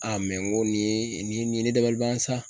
n ko nin ye , nin ye ne dabalibi ban sa.